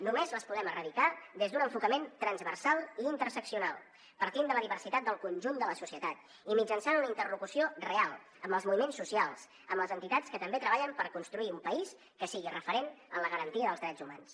només les podem erradicar des d’un enfocament transversal i interseccional partint de la diversitat del conjunt de la societat i mitjançant una interlocució real amb els moviments socials amb les entitats que també treballen per construir un país que sigui referent en la garantia dels drets humans